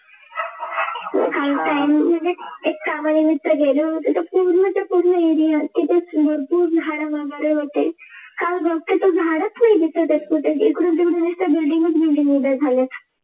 एक Family मित्र गेले होते तर पूर्णच्या पूर्ण Area तिथेच भरपूर झाड वगैरे होते काल बघते तर झाडच नाही दिसत आहे कुठे इकडून तिकडून नुसत building च Building उभ्या झाल्या